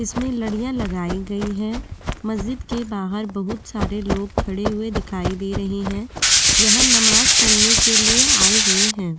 इसमें लडिया लगाई गई है मस्जिद के बाहर बहुत सारे लोग खड़े हुए दिखाई दे रहे हैं यह नमाज पढ़ने के लिए आए हुए हैं।